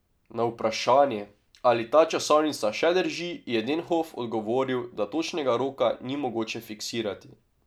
Na vprašanje, ali ta časovnica še drži, je Denhof odgovoril, da točnega roka ni mogoče fiksirati.